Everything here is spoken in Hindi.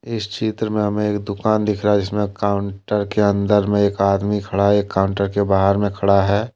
इस चित्र में हमें एक दुकान दिख रहा है इसमें काउंटर के अंदर में एक आदमी खड़ा एक काउंटर के बाहर में खड़ा है।